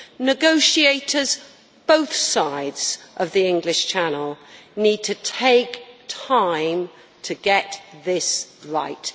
Negotiators on both sides of the English Channel need to take time to get this right.